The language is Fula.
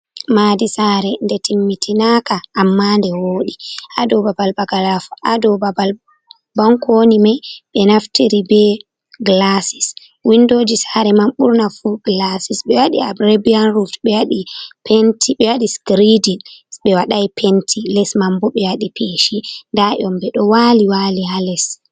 Madi sare nde timmitinaka amma nde wodi adou babal baga ruf babal bankoni mai ɓe naftiri be glasis windoji sare man ɓurna fu glasis be waɗi arabian ruf ɓewadi skredin ɓe waɗai penti les manbo ɓe wadi peshi nda dyombe ɗo wali wali ha les.